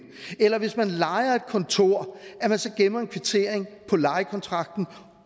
eller hvis man lejer et kontor så gemmer en kvittering på lejekontrakten